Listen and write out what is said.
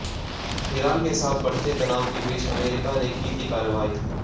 Iran के साथ बढ़ते तनाव के बीच अमेरिका ने की थी कार्रवाई